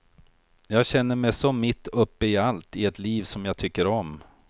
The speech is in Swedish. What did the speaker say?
Jag känner mig så mitt uppe i allt, i ett liv som jag tycker om.